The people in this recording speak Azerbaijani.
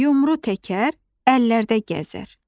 Yumru təkər, əllərdə gəzər.